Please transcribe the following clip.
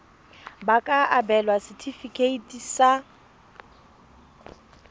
ba ka abelwa setefikeiti sa